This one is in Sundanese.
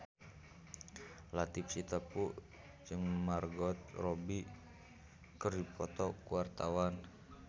Latief Sitepu jeung Margot Robbie keur dipoto ku wartawan